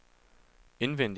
indvendig